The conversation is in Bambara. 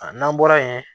A n'an bɔra yen